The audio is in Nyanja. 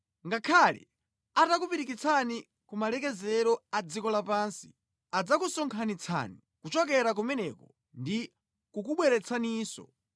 Ngakhale atakupirikitsirani ku malekezero a dziko lapansi, adzakusonkhanitsani kuchokera kumeneko ndi kukubweretsaninso.